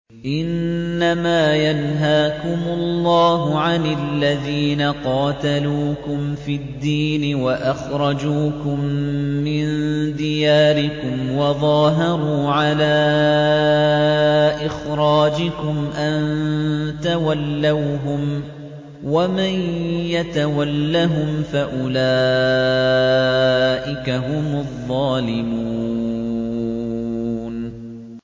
إِنَّمَا يَنْهَاكُمُ اللَّهُ عَنِ الَّذِينَ قَاتَلُوكُمْ فِي الدِّينِ وَأَخْرَجُوكُم مِّن دِيَارِكُمْ وَظَاهَرُوا عَلَىٰ إِخْرَاجِكُمْ أَن تَوَلَّوْهُمْ ۚ وَمَن يَتَوَلَّهُمْ فَأُولَٰئِكَ هُمُ الظَّالِمُونَ